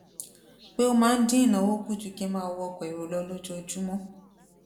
pé ó máa ń dín ìnáwó kù ju kí n máa wọ ọkò èrò lọ lójoojúmó